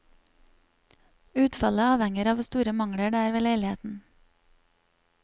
Utfallet avhenger av hvor store mangler det er ved leiligheten.